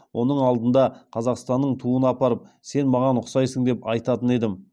оның алдына қазақстанның туын апарып сен маған ұқсайсың деп айтатын едім